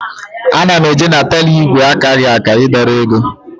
Ana m eje na teller ígwè akaghị aka ị dọrọ ego